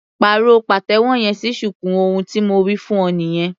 Pàrọ̀ pàtẹ́wọ́ yẹn sí shuku ohun tí mo wí fún ọ nìyẹn.